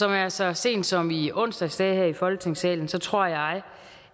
jeg så sent som i onsdags sagde her i folketingssalen tror jeg